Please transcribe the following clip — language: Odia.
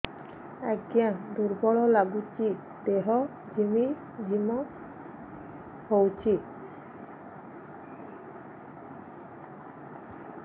ଆଜ୍ଞା ଦୁର୍ବଳ ଲାଗୁଚି ଦେହ ଝିମଝିମ ହଉଛି